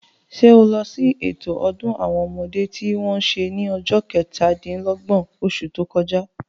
Sé o lọ sí ètò ọdún àwọn ọmọdé tí wọ́n se ní ọjọ́ kẹtà-dín-lọ́gbọ̀n, osù tó kọjá?